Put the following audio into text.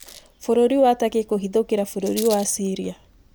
Bũrũri wa Turkey kũhithũkĩra bũrũri wa Ciria.